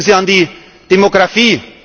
Denken Sie an die Demografie.